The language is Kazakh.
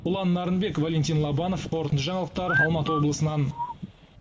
ұлан нарынбек валентин лобанов қорытынды жаңалықтар алматы облысынан